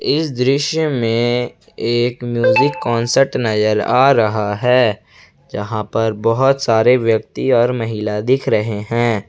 इस दृश्य में एक म्यूज़िक कॉन्सर्ट नजर आ रहा है जहां पर बहोत सारे व्यक्ति और महिला दिख रहे हैं।